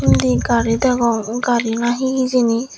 undi garidagong garina he hijini.